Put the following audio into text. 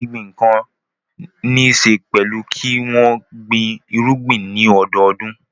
Gbígbin ohun kan níṣe pẹ̀lú kí wọ́n gbin irúgbìn ní ọdọọdún.